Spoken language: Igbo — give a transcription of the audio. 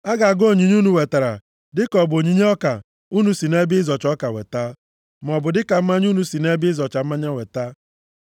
A ga-agụ onyinye unu wetara dịka ọ bụ onyinye ọka unu si nʼebe ịzọcha ọka weta, maọbụ dịka mmanya unu si nʼebe ịzọcha mmanya weta.